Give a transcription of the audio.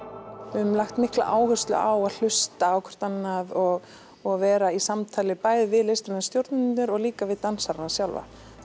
höfum lagt mikla áherslu á að hlusta á hvort annað og og vera í samtali bæði við listræna stjórnendur og líka við dansarana sjálfa